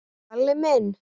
Kalli minn!